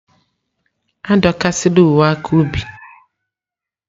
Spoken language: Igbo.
Adọkasịla uwe aka ubi!